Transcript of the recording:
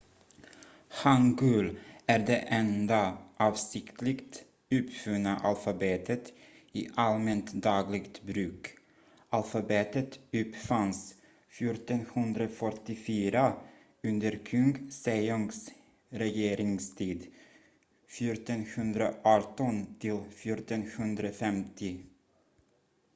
hangul är det enda avsiktligt uppfunna alfabetet i allmänt dagligt bruk. alfabetet uppfanns 1444 under kung sejongs regeringstid 1418–1450